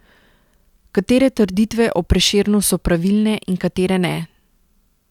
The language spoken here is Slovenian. Katere trditve o Prešernu so pravilne in katere ne?